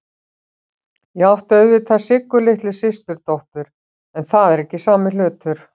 Ég átti auðvitað Siggu litlu systurdóttur, en það er ekki sami hlutur.